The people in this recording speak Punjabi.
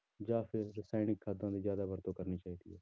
ਜਾਂ ਫਿਰ ਰਸਾਇਣਿਕ ਖਾਦਾਂ ਦੀ ਜ਼ਿਆਦਾ ਵਰਤੋਂ ਕਰਨੀ ਚਾਹੀਦੀ ਹੈ।